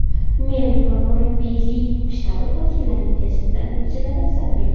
Men va murabbiylik shtabi vakillarining test natijalari salbiy.